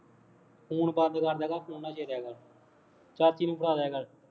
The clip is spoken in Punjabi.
ਫੋਨ ਬੰਦ ਕਰ ਲਿਆ ਕਰ, ਫੋਨ ਨਾ ਛੇੜਿਆ ਕਰ, ਚਾਚੀ ਨੂੰ ਫੜਾ ਦਿਆ ਕਰ